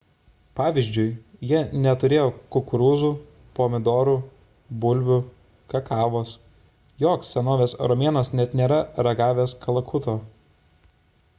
pavyzdžiui jie neturėjo kukurūzų pomidorų bulvių kakavos joks senovės romėnas net nėra ragavęs kalakuto